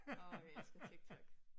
Åh jeg elsker TikTok